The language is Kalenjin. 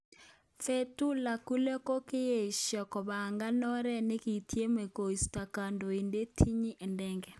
Fetullah Gulen kokoeshia kopanga oret nakityeme keistoo kandoindet Tyyip Erdogan.